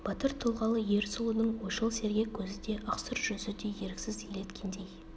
батыр тұлғалы ер сұлудың ойшыл сергек көзі де ақ сұр жүзі де еріксіз елеткендей